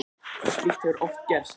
Slíkt hefur oft gerst.